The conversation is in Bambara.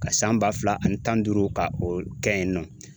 Ka san ba fila ani tan ni duuru ka o kɛ yen nɔ